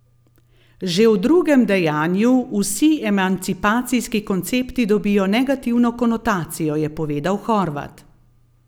Že v drugem dejanju vsi emancipacijski koncepti dobijo negativno konotacijo, je povedal Horvat.